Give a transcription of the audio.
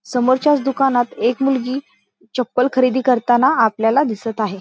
समोरच्याच दुकानात एक मुलगी चप्पल खरेदी करताना आपल्याला दिसत आहे.